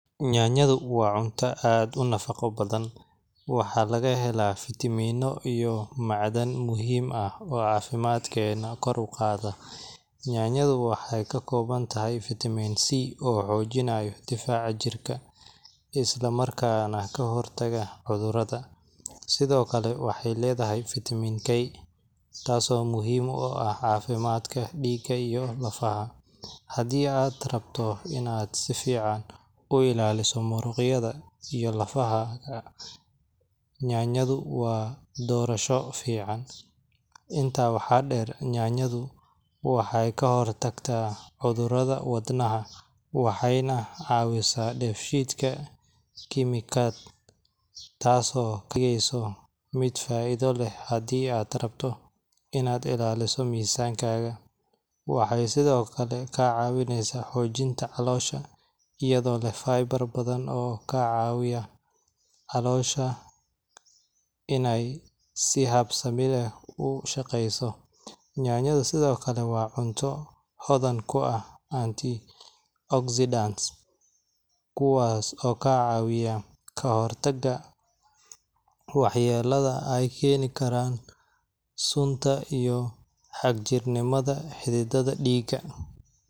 Nyanyadhu waa cunto aad u nafaqo badan, waxaana laga helaa fitamiinno iyo macdan muhiim ah oo caafimaadkeena kor u qaada. Nyanyadhu waxay ka kooban tahay fitamiin C, oo xoojinaya difaaca jirka, isla markaana ka hortaga cudurrada. Sidoo kale, waxay leedahay fiitamiin K, taasoo muhiim u ah caafimaadka dhiigga iyo lafaha. Haddii aad rabto in aad si fiican u ilaaliso muruqyada iyo lafaha, nyanyadhu waa doorasho fiican. Intaa waxaa dheer, nyanyadhu waxay ka hortagtaa cudurrada wadnaha, waxayna caawisaa dheef-shiid kiimikaad, taasoo ka dhigaysa mid faa'iido leh haddii aad rabto inaad ilaaliso miisaankaaga. Waxay sidoo kale ka caawisaa xoojinta caloosha, iyadoo leh fiber badan oo ka caawiya caloosha inay si habsami leh u shaqeyso. Nyanyadhu sidoo kale waa cunto hodan ku ah antioxidants, kuwaas oo ka caawiya ka hortagga waxyeellada ay keeni karaan sunta iyo xagjirnimada xididdada dhiigga.